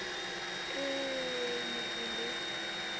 ee e ne e le